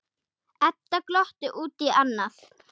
Edda glottir út í annað.